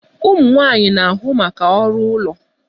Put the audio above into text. Ụmụ nwanyị na-ahụ maka ọrụ ụlọ